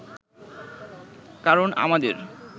কারণ আমাদের